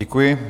Děkuji.